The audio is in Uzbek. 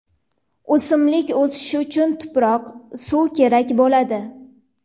O‘simlik o‘sishi uchun tuproq, suv kerak bo‘ladi.